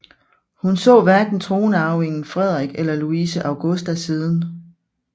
Hun så hverken tronarvingen Frederik eller Louise Augusta siden